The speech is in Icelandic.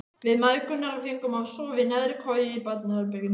Við mæðgurnar fengum að sofa í neðri koju í barnaherberginu.